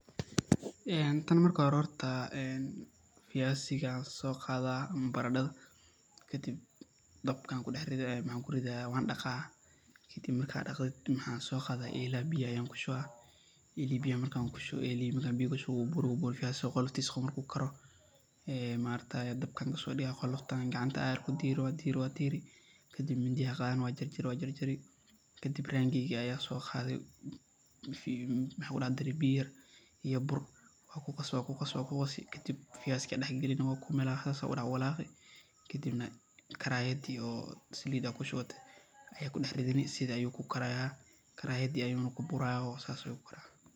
ee tan marki horee viazi ga ayan soqaadaa ama baradadha, dabka ayan ku daxridhaya maxaa ku ridhi wan daaqi, kadiib waxan so qadayaa ela biya ayan kushiwayaa, marka biya kushuwo elihi wuu buri wuu buri ee viazi qoloftisa qawo marku karo, dabkan kasodigayaa, ee qoloftan ayan kadiri, kadiib midi aya qadhani kadiib waa jarjari, kadiib rangi aya soqadhi, mxaa ku daxdari biya yar iyo buur kadiib waa qaasi waa ku qaasi, kadiib viazi ga aya dax gal galini waa kuwalaqeysaa, kadiib karayadi o salida kushuwatee aya kudax ridhaneysaa, sithas ayu karayada ku burayaa sas Ayuna ku karii.